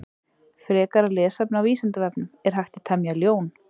Frekara lesefni á Vísindavefnum: Er hægt að temja ljón?